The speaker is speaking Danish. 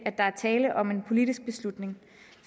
er tale om en politisk beslutning